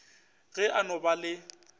ge a no ba le